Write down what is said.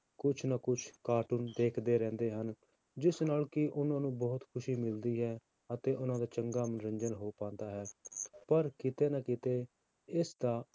ਕੁਛ ਨਾ ਕੁਛ cartoon ਦੇਖਦੇ ਰਹਿੰਦੇ ਹਨ, ਜਿਸ ਨਾਲ ਕਿ ਉਹਨਾਂ ਨੂੰ ਬਹੁਤ ਖ਼ੁਸ਼ੀ ਮਿਲਦੀ ਹੈ, ਅਤੇ ਉਹਨਾਂ ਦਾ ਚੰਗਾ ਮਨੋਰੰਜਨ ਹੋ ਪਾਉਂਦਾ ਹੈ, ਪਰ ਕਿਤੇ ਨਾ ਕਿਤੇ ਇਸਦਾ